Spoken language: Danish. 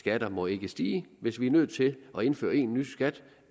skatter må ikke stige hvis vi er nødt til at indføre en ny skat